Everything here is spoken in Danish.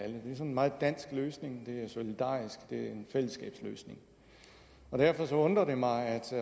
en meget dansk løsning det er solidarisk og det er en fællesskabsløsning derfor undrer det mig at